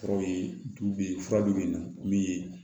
Furaw ye du bɛ yen fura bɛ yen nɔ min ye